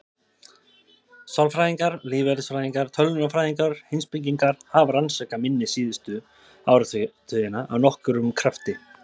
Sálfræðingar, lífeðlisfræðingar, tölvunarfræðingar og heimspekingar hafa rannsakað minni síðustu áratugina af nokkrum krafti.